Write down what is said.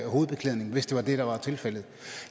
hovedbeklædning hvis det var det der var tilfældet